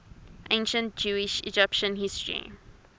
ancient jewish egyptian history